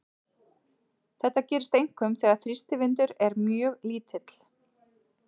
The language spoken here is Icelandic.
Þetta gerist einkum þegar þrýstivindur er mjög lítill.